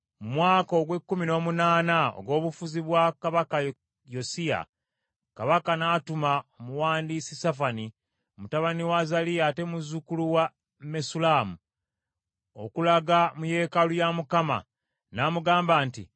Mu mwaka ogw’ekkumi n’omunaana ogw’obufuzi bwa kabaka Yosiya, kabaka n’atuma omuwandiisi Safani mutabani wa Azaliya ate muzzukulu wa Mesullamu okulaga mu yeekaalu ya Mukama . N’amugamba nti,